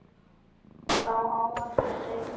Þá á eftir að teikna.